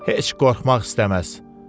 Heç qorxmaq istəməz.